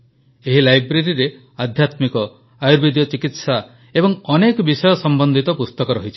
ଏହି ଲାଇବ୍ରେରୀରେ ଅଧ୍ୟାତ୍ମିକ ଆୟୁର୍ବେଦୀୟ ଚିକିତ୍ସା ଏବଂ ଅନ୍ୟ ଅନେକ ବିଷୟ ସମ୍ବନ୍ଧିତ ପୁସ୍ତକ ରହିଛି